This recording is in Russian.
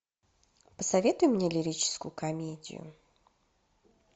посоветуй мне лирическую комедию